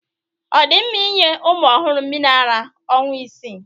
Ọ dị mma inye ụmụ ọhụrụ mmiri ara ọnwa isii.